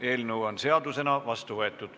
Eelnõu on seadusena vastu võetud.